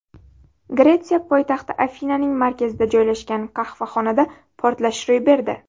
Gretsiya poytaxti Afinaning markazida joylashgan qahvaxonada portlash ro‘y berdi.